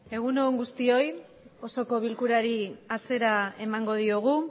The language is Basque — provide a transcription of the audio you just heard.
egun on guztioi osoko bilkurari hasiera emango diogu